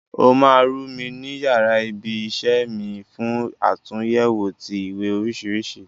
O ma ru mi ni yara ibi isẹ́ mi fún àtúnyẹwò ti ìwé oríṣiríṣi.